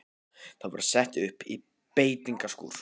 Þau voru sett upp í beitingaskúr.